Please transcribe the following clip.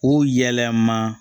O yɛlɛma